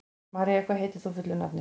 María, hvað heitir þú fullu nafni?